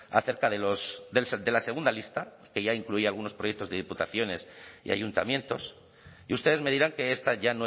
acerca de la segunda lista que ya incluía algunos proyectos de diputaciones y ayuntamientos y ustedes me dirán que esta ya